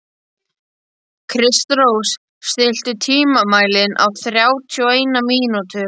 Kristrós, stilltu tímamælinn á þrjátíu og eina mínútur.